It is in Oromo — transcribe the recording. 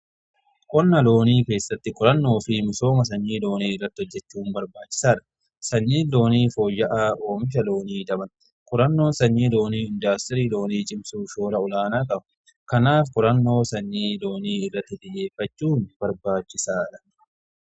qonna loonii keessatti qorannoo fi misooma sanyii loonii irratti hojjechuun barbaachisaadha. sanyii loonii foyya'aan oomisha loonii dabala. qorannoon sanyii loonii indaastirii loonii cimsuuf shoora olaanaa qaba. kanaaf qorannoo sanyii loonii irratti xiyyeeffachuun barbaachisaadha.